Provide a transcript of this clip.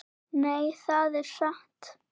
Nei, það er satt.